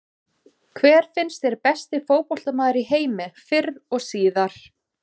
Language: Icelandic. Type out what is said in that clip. Hver finnst þér besti fótboltamaður í heimi fyrr og síðar?